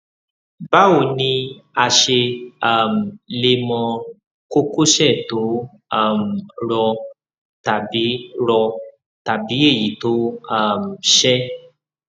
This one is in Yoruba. báwo ni a ṣe um lè mọ kókósẹ tó um rọ tàbí rọ tàbí èyí tó um ṣẹ